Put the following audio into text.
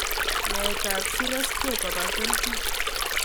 Naet tab sireskek koba keljin